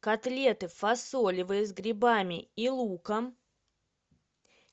котлеты фасолевые с грибами и луком